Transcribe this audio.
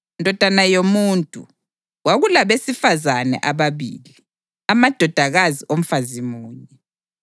“Ndodana yomuntu, kwakulabesifazane ababili, amadodakazi omfazi munye.